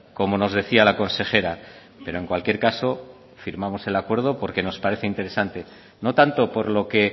como nos decía la consejera pero en cualquier caso firmamos el acuerdo porque nos parece interesante no tanto por lo que